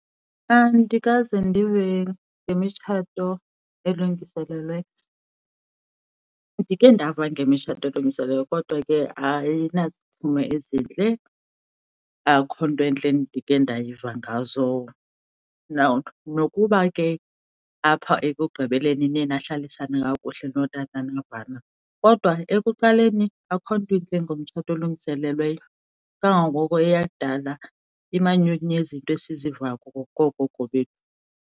Andikaze ndive ngemitshato elungiselelweyo. Ndike ndava ngemitshato elungiselelweyo kodwa ke ayinaziphumo ezintle, akukho nto entle endike ndayiva ngazo. Nokuba ke apha ekugqibeleni niye nahlalisane kakuhle notata navana, kodwa ekuqaleni akukho nto intle ngomtshato olungiselelweyo kangangoko eyakudala imanyukunyezi into esiziva koogogo bethu.